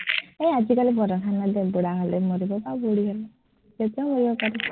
এৰ আজিকালি বুঢ়া হলে মৰিব বা বুঢ়ি হলে, এতিয়াও মৰিব পাৰ